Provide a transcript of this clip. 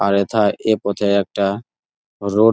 আর এথায় এ পথে একটা রোড --